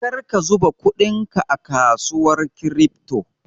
Karka zuba kudinka a kasuwar kirifto!